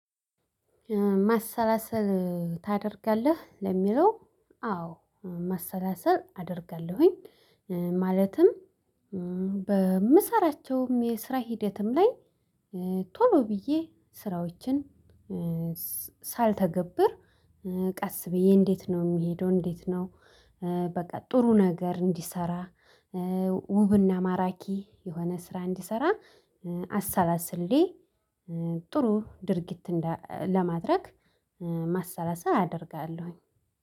ማሰላሰል ታደርጋለህ ለሚለው? አዎ ማሰላሰል አደርጋለሁኝ። ኧ ማለትም እ በምሰራቸውም የስራ ሂደትም ላይ ኧ ቶሎ ብዬ ስራዎችን ኧ ሳልተገብር ኧ ቀስ ብዬ እንዴት ነው እምሄደው? እንዴት ነው? ኧ በቃ ጥሩ ነገር እንዲሰራ ኧ ውብና ማራኪ የሆነ ስራ እንዲሰራ ኧ አሰላስሌ ኧ ጥሩ ድርጊት ለማድረግ ኧ ማሰላሰል አደርጋለሁኝ።